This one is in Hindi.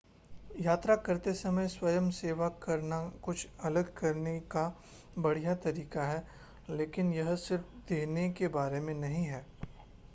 यात्रा करते समय स्वयंसेवा करना कुछ अलग करने का बढ़िया तरीका है लेकिन यह सिर्फ़ देने के बारे में नहीं है